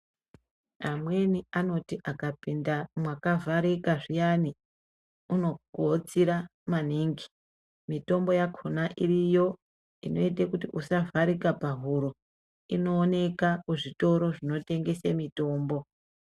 Amweni anoti akapinda mwakavharika zviyani, unohotsira maningi. Mitombo yakhona iriyo inoita kuti usavharika pahuro. Inooneka kuzvitoro zvinotengese mitombo.